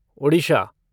Odisha